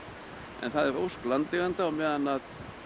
en það er ósk landeigenda að á meðan